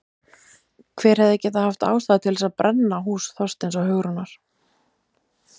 Hver hefði getað haft ástæðu til þess að brenna hús Þorsteins og Hugrúnar?